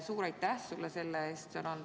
Suur aitäh sulle selle eest!